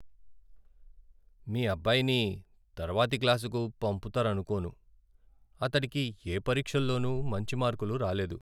మీ అబ్బాయిని తర్వాతి క్లాసుకు పంపుతారనుకోను. అతడికి ఏ పరీక్షలోనూ మంచి మార్కులు రాలేదు.